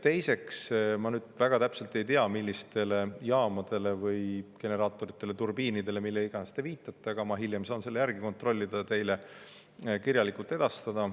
Teiseks, ma nüüd väga täpselt ei tea, millistele jaamadele või generaatoritele või turbiinidele või millele iganes te viitasite, aga ma saan selle järgi kontrollida ja vastuse teile hiljem kirjalikult edastada.